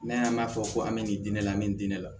N'an y'an b'a fɔ ko an bɛ nin di ne la an bɛ nin di ne la